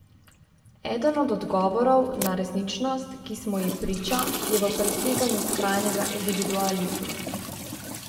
Eden od odgovorov na resničnost, ki smo ji priča, je v preseganju skrajnega individualizma.